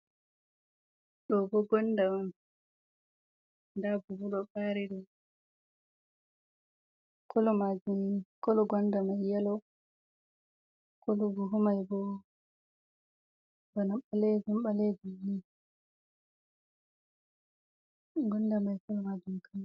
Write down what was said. Ɗo bo gonɗa on. Nɗa buhu ɗo bari ɗum. Kolo majumin, kolo gonɗa mai yelo. Kolo buhu mai bana balejum balejum ni. Gonɗa mai kolo majum girin.